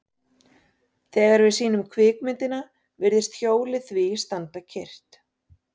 Þegar við sýnum kvikmyndina virðist hjólið því standa kyrrt.